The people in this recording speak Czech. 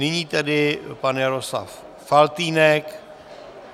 Nyní tedy pan Jaroslav Faltýnek.